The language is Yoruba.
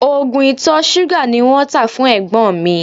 Oògùn ìtọ̀ ṣúgà ni wọ́n tá fún ẹ̀gbọ́n mi